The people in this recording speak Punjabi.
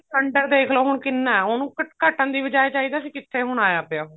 cylinder ਦੇਖਲੋ ਹੁਣ ਕਿੰਨਾ ਉਹਨੂੰ ਘਟਣ ਦੀ ਬਜਾਏ ਚਾਹੀਦਾ ਸੀ ਕਿੱਥੇ ਹੁਣ ਆਇਆ ਪਇਆ